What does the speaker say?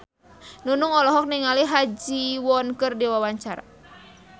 Nunung olohok ningali Ha Ji Won keur diwawancara